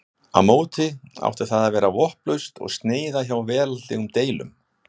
á móti átti það að vera vopnlaust og sneyða hjá veraldlegum deilum